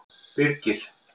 Birgir